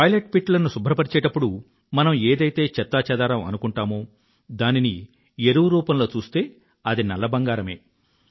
ఈ toilet pit ల శుభ్రపరిచేప్పుడు మనం ఏదైతే చెత్తా చెదారం అనుకుంటామో దానిని ఎరువు రూపంలో చూస్తే అది నల్ల బంగారమే